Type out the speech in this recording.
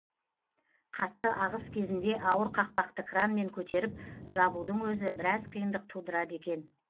қатты ағыс кезінде ауыр қақпақты кранмен көтеріп жабудың өзі біраз қиындық тудырады екен